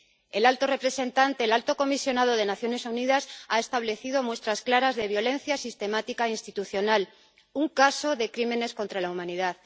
El alto comisionado de Naciones Unidas ha establecido muestras claras de violencia sistemática institucional un caso de crímenes contra la humanidad.